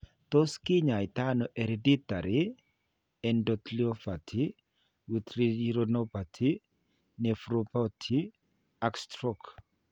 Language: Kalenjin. Tos' ki ny'aayto ano hereditary endotheliopathy with retinopathy, nephropathy, and stroke ?